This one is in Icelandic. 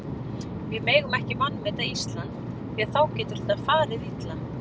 Við megum ekki vanmeta Ísland því að þá getur þetta farið illa.